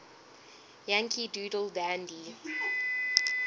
yankee doodle dandy